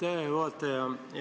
Aitäh, hea juhataja!